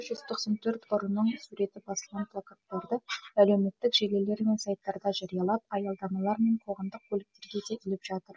жүз тоқсан төрт ұрының суреті басылған плакаттарды әлеуметтік желілер мен сайттарда жариялап аялдамалар мен қоғамдық көліктерге де іліп жатыр